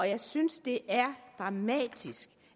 jeg synes det er dramatisk